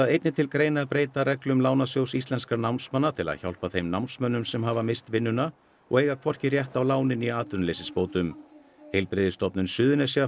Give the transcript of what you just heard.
einnig til greina að breyta reglum Lánasjóðs íslenskra námsmanna til hjálpa þeim námsmönnum sem hafa misst vinnuna og eiga hvorki rétt á láni né atvinnuleysisbótum heilbrigðisstofnun Suðurnesja